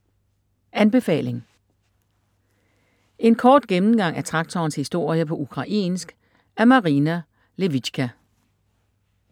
Anbefaling: En kort gennemgang af traktorens historie på ukrainsk af Marina Lewycka